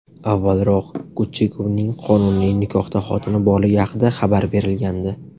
Avvalroq Guchigovning qonuniy nikohda xotini borligi haqida xabar berilgandi.